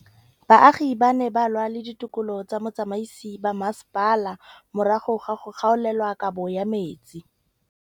Baagi ba ne ba lwa le ditokolo tsa botsamaisi ba mmasepala morago ga go gaolelwa kabo metsi